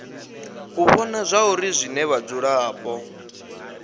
u vhona zwauri zwine vhadzulapo